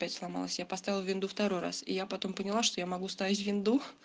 опять сломалась я поставила винду второй раз я потом поняла что я могу ставить винду